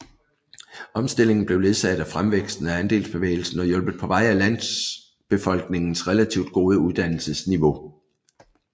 Omstillingen blev ledsaget af fremvæksten af andelsbevægelsen og hjulpet på vej af landbefolkningens relativt gode uddannelsesniveau